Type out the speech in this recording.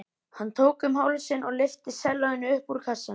Hann tók um hálsinn og lyfti sellóinu upp úr kassanum.